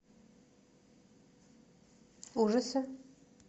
ужасы